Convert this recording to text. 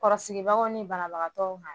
Kɔrɔsigibagaw ni banabagatɔw ma